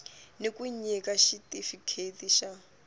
ni ku nyika xitifikheti xa